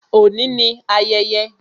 Òní ni ayẹyẹ